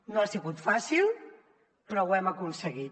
no ha sigut fàcil però ho hem aconseguit